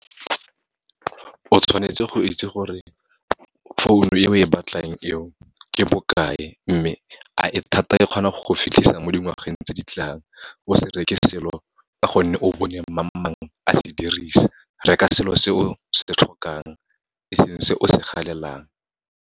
O tshwanetse go itse gore founo e we batlang eo, ke bokae. Mme, a e thata e kgona go go fitlhisa mo dingwageng tse ditlang, o se reke selo, ka gonne o bone mang-mang a se dirisa, reka selo se o se tlhokang, e seng se o se galelang.